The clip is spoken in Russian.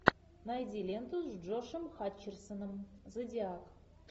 найди ленту с джошем хатчерсоном зодиак